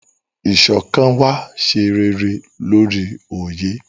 Iṣọkan wa ṣe réré lórí oye.